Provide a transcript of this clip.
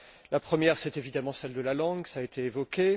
La première, c'est évidemment celle de la langue, ce point a été évoqué.